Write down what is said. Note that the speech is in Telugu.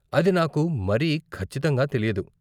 అది నాకు మరీ ఖచ్చితంగా తెలియదు.